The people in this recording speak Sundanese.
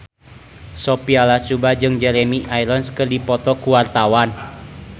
Sophia Latjuba jeung Jeremy Irons keur dipoto ku wartawan